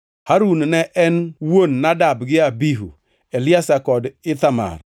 Harun ne en wuon Nadab gi Abihu, Eliazar kod Ithamar.